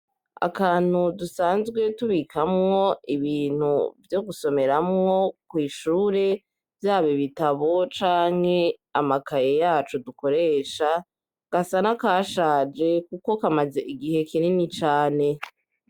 Akantu dusanzwe tubikamwo ibintu vyo gusomeramwo kw'shure, vyaba ibitabo canke amakaye yacu dukoresha, gasa n'akashaje kuko kamaze igihe kinini cane.